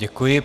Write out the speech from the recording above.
Děkuji.